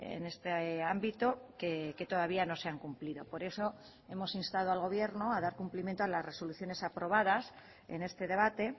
en este ámbito que todavía no se han cumplido por eso hemos instado al gobierno a dar cumplimiento a las resoluciones aprobadas en este debate